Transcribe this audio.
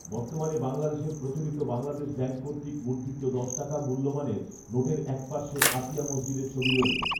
বর্তমানে বাংলাদেশের প্রচলিত বাংলাদেশ ব্যাংক কর্তৃক মুদ্রিত দশ টাকা মূল্যমানের নোটের একপার্শ্বে আতিয়া মসজিদের ছবি রয়েছে